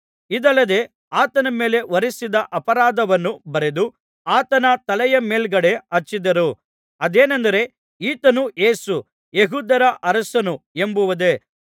ಇದಲ್ಲದೆ ಆತನ ಮೇಲೆ ಹೊರಿಸಿದ ಅಪರಾಧವನ್ನು ಬರೆದು ಆತನ ತಲೆಯ ಮೇಲ್ಗಡೆ ಹಚ್ಚಿದರು ಅದೇನೆಂದರೆ ಈತನು ಯೇಸು ಯೆಹೂದ್ಯರ ಅರಸನು ಎಂಬುದೇ